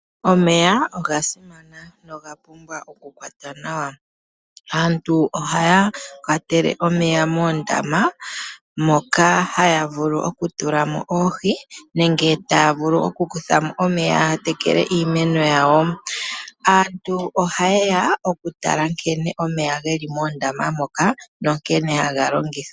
Omeya oga simana noga pumbwa okukwatwa nawa. Aantu ohaya kwatele omeya moondama. Moka haya vulu okutulamo oohi nenge taya vulu oku kuthamo omeya yatekele iimeno yawo. Aantu ohayeya oku tala nkene omeya geli moondama moka nankene haga longithwa.